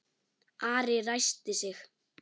Ari ræskti sig.